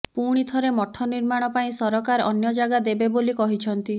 ପୁଣି ଥରେ ମଠ ନିର୍ମାଣ ପାଇଁ ସରକାର ଅନ୍ୟ ଯାଗା ଦେବେ ବୋଲି କହିଛନ୍ତି